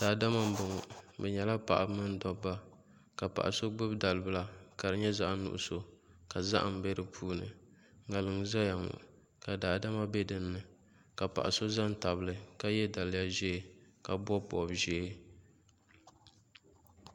Daadama n bɔŋɔ bi nyɛla paɣaba ni dabba ka paɣa so gbubi dalibila ka di nyɛ zaɣ nuɣso ka zaham bɛ di puuni ŋarim n ʒɛya ŋɔ ka daadama bɛ dinni ka paɣa so ʒɛ n tabili ka yɛ daliya ʒiɛ ka bob bob ʒiɛ